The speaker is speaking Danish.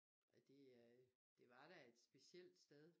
Og det øh det var da et specielt sted